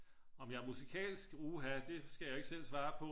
om jeg er musikalsk? uha det skal jeg jo ikke selv svare på